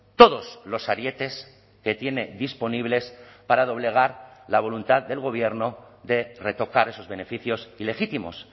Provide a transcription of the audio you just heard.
todos los arietes que tiene disponibles para doblegar la voluntad del gobierno de retocar esos beneficios ilegítimos